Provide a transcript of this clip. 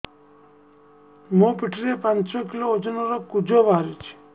ମୋ ପିଠି ରେ ପାଞ୍ଚ କିଲୋ ଓଜନ ର କୁଜ ବାହାରିଛି